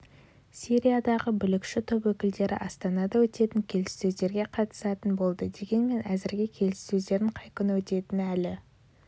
сириядағы бүлікші топ өкілдері астанада өтетін келіссөздерге қатысатын болды дегенмен әзірге келіссөздердің қай күні өтетіні әлі